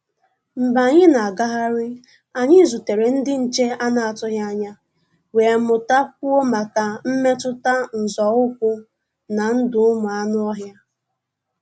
Mgbé ànyị́ ná-àgáhárí, ànyị́ zútèré ndí nché à nà-àtụghí ányá, wéé mụ́tá kwúó máká mmétụ́tá nzọ́ ụ́kwụ́ ná ndụ́ ụ́mụ́ ànụ́-ọ́hịá.